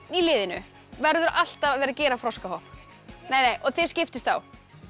í liðinu verður alltaf að vera að gera froskahopp þið skiptist á